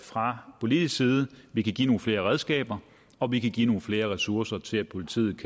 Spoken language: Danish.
fra politisk side vi kan give nogle flere redskaber og vi kan give nogle flere ressourcer til politiet